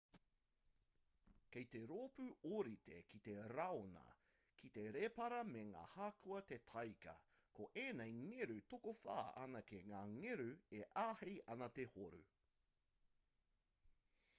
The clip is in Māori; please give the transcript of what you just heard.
kei te roopu ōrite ki te raiona ki te rēpara me ngā hākua te tāika ko ēnei ngeru tokowhā anake ngā ngeru e āhei ana te horu